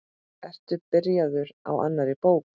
Ertu byrjaður á annarri bók?